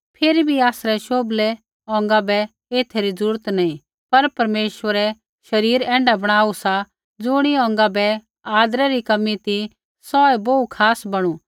फिरी भी आसरै शोभले अौंगा बै ऐथा री जरूरत नी पर परमेश्वरै शरीर ऐण्ढा बणाई रा सा कि ज़ुणी अौंगा बै आदरै री कमी ती सौऐ बोहू खास बणु